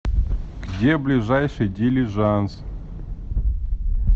где ближайший дилижанс